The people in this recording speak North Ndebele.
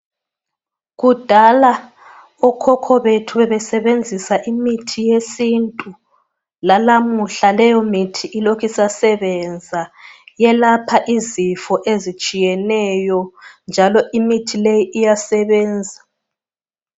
Kudala okhokho bethu bebesebenzisa imithi yesintu lalamuhla leyo mithi ilokhe isa sebenza yelapha izifo ezitshiyeneyo, njalo imithi leyi iyasebenza.